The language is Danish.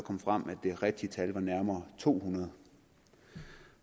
frem at det rigtige tal nærmere to hundrede